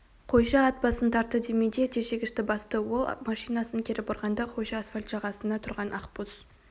қойшы ат басын тартты дементьев тежегішті басты ол машинасын кері бұрғанда қойшы асфальт жағасында тұрған ақбоз